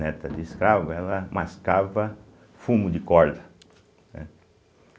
Neta de escravo, ela mascava fumo de corda, né.